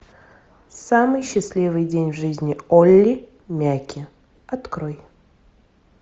самый счастливый день в жизни олли мяки открой